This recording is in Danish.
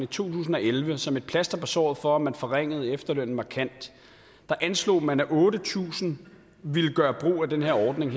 tusind og elleve som et plaster på såret for at man forringede efterlønnen markant anslog man at otte tusind ville gøre brug af den her ordning